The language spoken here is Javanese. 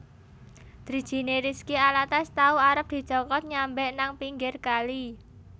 Drijine Rizky Alatas tau arep dicokot nyambek nang pinggir kali